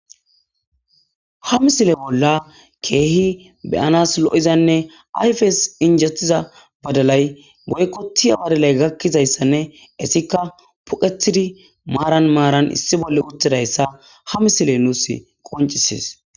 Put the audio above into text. ha misile bolla keehi beyanas lo7izanne ayfes injettiza badalay boykkoti awadalay gakkizayssanne essikka puqetidi maaran maaran issi bolle uttidayssa ha misile nuus qoncisis